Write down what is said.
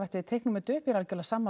við teiknum þetta upp ég er algerlega sammála